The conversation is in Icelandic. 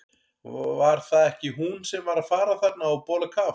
Var það ekki hún sem var að fara þarna á bólakaf?